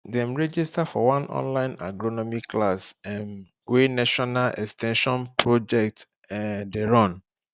dem register for one online agronomy class um wey national ex ten sion project um dey run